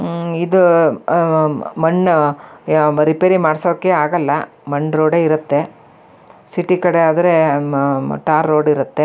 ಉಹ್ಹ್ ಇದು ಮಣ್ಣು ರಿಪೇರಿ ಮಾಡ್ಸೋಕೆ ಆಗಲ್ಲ ಮಣ್ಣ್ ರೋಡ್ ಇರುತ್ತೆ ಸಿಟಿ ಕಡೆ ಆದ್ರೆ ಟಾರ್ ರೋಡ್ ಇರುತ್ತೆ.